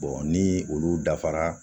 ni olu dafara